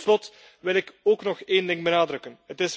Tot slot wil ik ook nog een ding benadrukken.